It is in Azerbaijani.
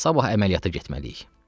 Sabah əməliyyata getməliyik.